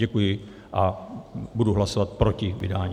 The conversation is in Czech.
Děkuji a budu hlasovat proti vydání.